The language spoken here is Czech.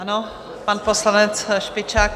Ano, pan poslanec Špičák.